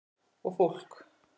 Og fólk!